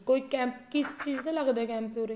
ਕੋਈ camp ਕਿਸ ਚੀਜ਼ਾ ਦਾ ਲੱਗਦਾ ਹੈ camp ਉੱਰੇ